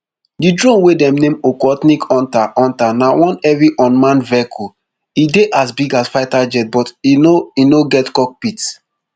di drone wey dem name okhotnik hunter hunter na one heavy unmanned vehicle e dey as big as fighter jet but e no e get cockpit